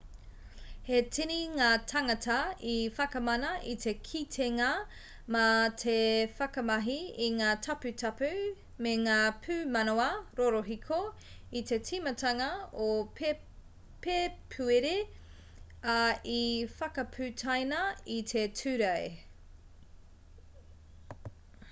he tini ngā tāngata i whakamana i te kitenga mā te whakamahi i ngā taputapu me ngā pūmanawa rorohiko i te timatanga o pēpuere ā i whakaputaina i te tūrei